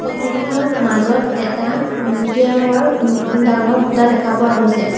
Photo খনত মাজত এটা মটীয়া ৰঙৰ ম ম ডাঙৰ খুঁটা দেখা পোৱা গৈছে।